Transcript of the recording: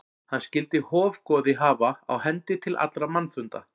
Hann skyldi hofgoði hafa á hendi til allra mannfunda.